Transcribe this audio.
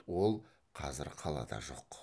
ол қазір қалада жоқ